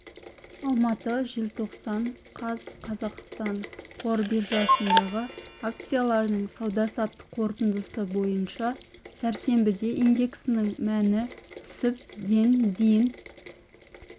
алматы желтоқсан қаз қазақстан қор биржасындағы акциялардың сауда-саттық қорытындысы бойынша сәрсенбіде индексінің мәні түсіп ден дейін